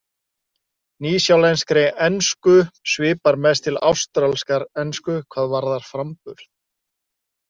Nýsjálenskri ensku svipar mest til ástralskrar ensku hvað varðar framburð.